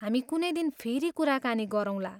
हामी कुनै दिन फेरि कुराकानी गरौँला।